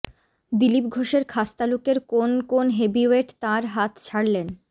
দিলীপ ঘোষের খাসতালুকের কোন কোন হেভিওয়েট তাঁর হাত ছাড়লেন